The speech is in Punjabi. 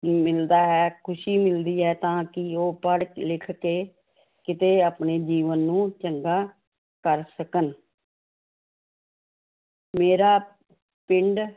ਮਿਲਦਾ ਹੈ ਖ਼ੁਸ਼ੀ ਮਿਲਦੀ ਹੈ ਤਾਂ ਕਿ ਉਹ ਪੜ੍ਹ ਲਿਖ ਕੇ ਕਿਤੇ ਆਪਣੇ ਜੀਵਨ ਨੂੰ ਚੰਗਾ ਕਰ ਸਕਣ ਮੇਰਾ ਪਿੰਡ